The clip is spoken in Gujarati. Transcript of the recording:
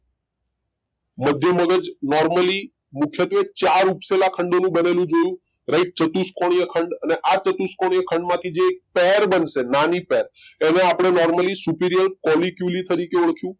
મધ્ય મગજ નોર્મલી મુખ્યતવે ચાર ઉપસેલા ખંડો બનેલું જોયું રાઈટ ચતુષ્કોણીય ખંડ અને આ ચતુષ્કોણીય ખંડ માંથી જે પેર બનશે નાની પેર એને આપડે normally superior કોલી ક્યુલી તરીખે ઓળખ્યું